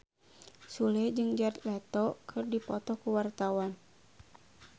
Sule jeung Jared Leto keur dipoto ku wartawan